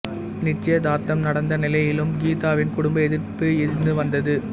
நிச்சயதார்த்தம் நடந்த நிலையிலும் கீதாவின் குடும்ப எதிர்ப்பு இருந்து வந்தது